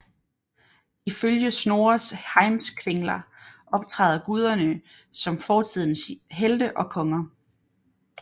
Ifølge Snorres Heimskringla optræder guderne som fortidens helte og konger